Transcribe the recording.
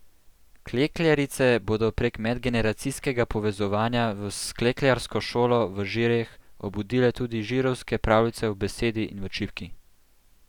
Klekljarice bodo prek medgeneracijskega povezovanja v s Klekljarsko šolo v Žireh obudile tudi žirovske pravljice v besedi in v čipki.